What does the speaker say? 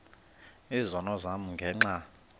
izono zam ngenxa